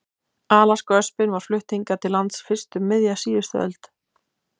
Alaskaöspin var flutt hingað til lands fyrst um miðja síðustu öld.